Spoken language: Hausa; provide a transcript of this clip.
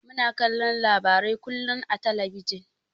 Muna kallon labarai kullun a talabijin.